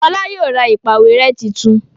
Fola yóò rà ìpàwérẹ́ títún